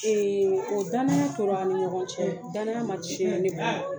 o danaya tora an ni ɲɔgɔn cɛ, danaya ma cɛn ne bolo